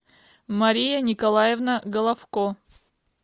мария николаевна головко